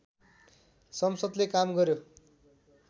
संसद्ले काम गर्‍यो